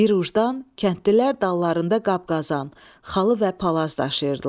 Bir ucdan kəndlilər dallarında qap-qazan, xalı və palaz daşıyırdılar.